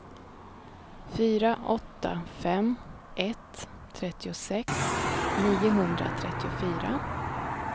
fyra åtta fem ett trettiosex niohundratrettiofyra